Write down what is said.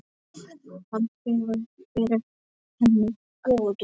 Hann hefur verið henni góður.